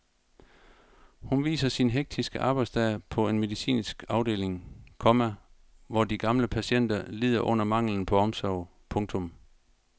Hun viser sin hektiske arbejdsdag på en medicinsk afdeling, komma hvor de gamle patienter lider under manglen på omsorg. punktum